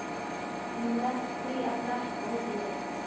Með því að drekka út í eitt.